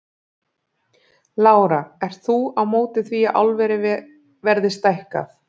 Lára: Ert þú á móti því að álverið verði stækkað?